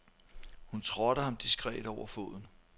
Hun trådte ham diskret over foden.